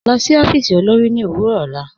Lọ sí ọfiísì olórì ni owurọ ọlá.